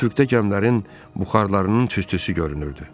Üfüqdə gəmilərin buxarlarının tüstüsü görünürdü.